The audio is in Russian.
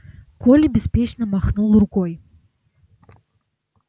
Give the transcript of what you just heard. коля беспечно махнул рукой